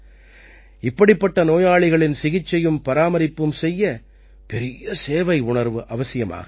இப்படிப்பட்ட நோயாளிகளின் சிகிச்சையும் பராமரிப்பும் செய்ய பெரிய சேவை உணர்வு அவசியமாகிறது